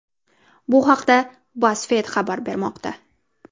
Bu haqda BuzzFeed xabar bermoqda .